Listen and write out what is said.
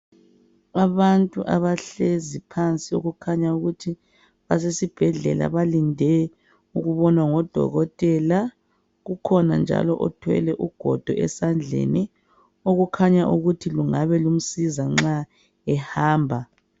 Abantu abahlezi phansi okukhanya ukuthi basesi bhedlela balinde ukubonwa ngodokoteka kukhona njalo othwele ugogo esandleni Okukhanya ukuthi lungabe lumsiza nxa ehamba